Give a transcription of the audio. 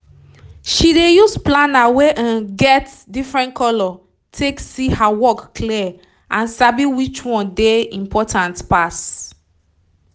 she dey use planner wey get different color take see her work clear and sabi which one dey important pass